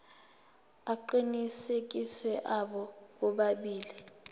aqinisekisiwe abo bobabili